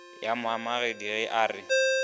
ya moamogedi ge a re